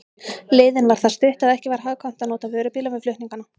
Leiðin var það stutt, að ekki var hagkvæmt að nota vörubíla við flutningana.